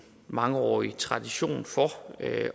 mangeårig tradition for